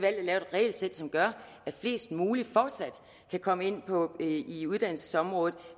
regelsæt som gør at flest muligt fortsat kan komme ind på uddannelsesområdet